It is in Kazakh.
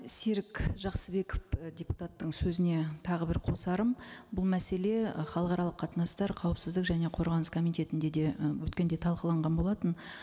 серік жақсыбеков і депутаттың сөзіне тағы бір қосарым бұл мәселе і халықаралық қатынастар қауіпсіздік және қорғаныс комитетінде де ы өткенде талқыланған болатын